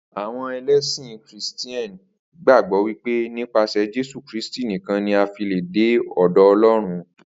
Àwo̩n e̩lé̩sìn Krìsté̩nì gbàgbó̩ wípé nípasè̩ Jésù Kristì nìkan ni a fi lè̩ dé ò̩dò̩ O̩ló̩run